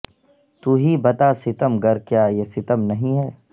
تو ہی بتا ستم گر کیا یہ ستم نہیں ہے